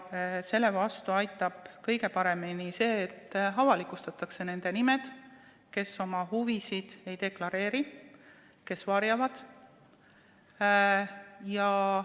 Selle vastu aitab kõige paremini see, et avalikustatakse nende nimed, kes oma huvisid ei deklareeri, vaid varjavad neid.